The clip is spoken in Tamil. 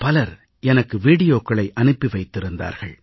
பலர் எனக்கு வீடியோக்களை அனுப்பி வைத்திருக்கிறார்கள்